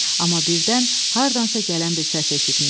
Amma birdən hardansa gələn bir səs eşitmişdi.